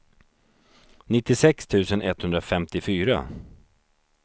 nittiosex tusen etthundrafemtiofyra